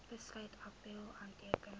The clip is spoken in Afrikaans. besluit appèl aanteken